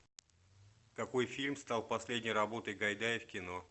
какой фильм стал последней работой гайдая в кино